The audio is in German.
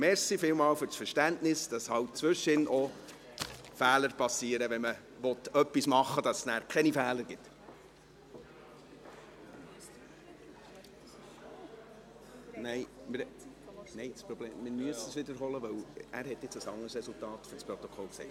Vielen Dank fürs Verständnis, dass zwischendurch auch Fehler geschehen, wenn man etwas tun will, um Fehler zu vermeiden.